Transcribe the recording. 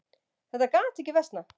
Þetta gat ekki versnað.